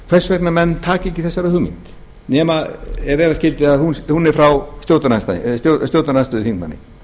hvers vegna menn taka ekki þessari hugmynd nema ef vera skyldi að hún er frá stjórnarandstöðuþingmanni